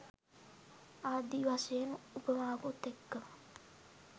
ආදී වශයෙන් උපමාවකුත් එක්කම